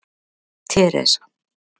Teresa